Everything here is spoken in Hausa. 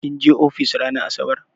Kin je ofis ranar asabar?